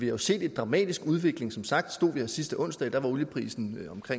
jo set en dramatisk udvikling som sagt stod vi her sidste onsdag hvor olieprisen